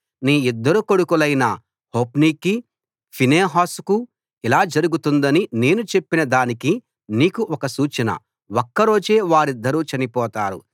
నీ ఇద్దరు కొడుకులైన హొఫ్నీకీ ఫీనెహాసుకూ ఇలా జరుగుతుందని నేను చెప్పిన దానికి నీకు ఒక సూచన ఒక్కరోజే వారిద్దరూ చనిపోతారు